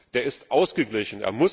Er ist ausgeglichen.